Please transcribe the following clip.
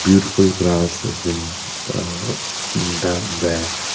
beautiful grass has been umm--